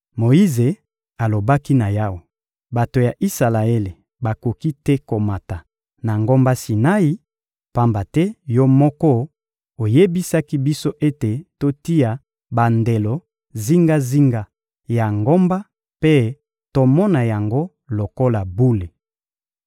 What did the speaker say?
Moyize alobaki na Yawe: — Bato ya Isalaele bakoki te komata na ngomba Sinai, pamba te Yo moko oyebisaki biso ete totia bandelo zingazinga ya ngomba mpe tomona yango lokola bule.